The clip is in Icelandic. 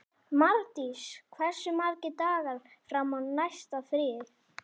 Mardís, hversu margir dagar fram að næsta fríi?